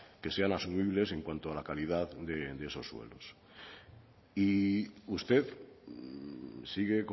que sean asumibles en cuanto a la calidad de esos suelos y usted sigue